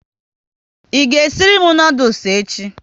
I ga esiri m noodules echi?